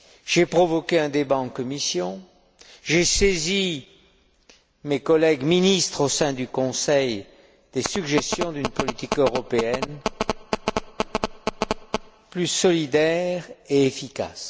J'ai provoqué un débat à l'intérieur de la Commission, j'ai saisi mes collègues ministres au sein du Conseil des suggestions d'une politique européenne plus solidaire et efficace.